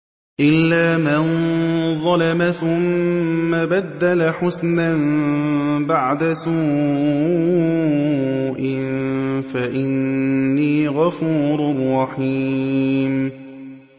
إِلَّا مَن ظَلَمَ ثُمَّ بَدَّلَ حُسْنًا بَعْدَ سُوءٍ فَإِنِّي غَفُورٌ رَّحِيمٌ